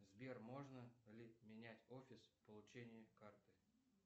сбер можно ли менять офис получения карты